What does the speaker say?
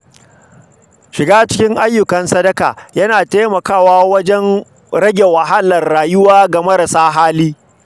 Shiga cikin ayyukan sadaka yana taimakawa wajen rage wahalar rayuwa ga marasa hali.